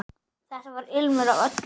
Þar var ilmur af öllu.